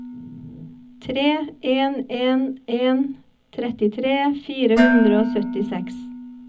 tre en en en trettitre fire hundre og syttiseks